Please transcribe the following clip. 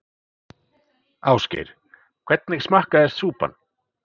Ásgeir: Hvernig smakkaðist súpan?